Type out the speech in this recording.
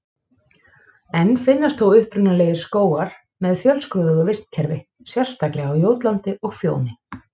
Enn finnast þó upprunalegir skógar með fjölskrúðugu vistkerfi, sérstaklega á Jótlandi og Fjóni.